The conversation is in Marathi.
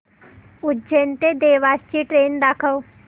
उज्जैन ते देवास ची ट्रेन दाखव